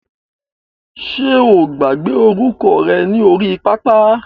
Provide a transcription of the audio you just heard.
Ṣe o gbàgbé orúkọ rẹ ní orí pápá?